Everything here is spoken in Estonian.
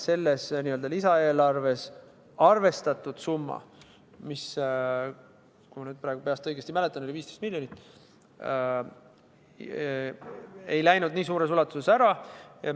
Selles lisaeelarves arvestatud summa, mis oli 15 miljonit, kui ma praegu peast õigesti mäletan, ei kulunud nii suures ulatuses ära.